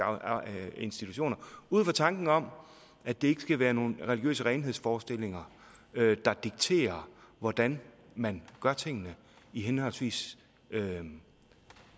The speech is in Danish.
institutioner ud fra tanken om at det ikke skal være nogen religiøse renhedsforestillinger der dikterer hvordan man gør tingene i henholdsvis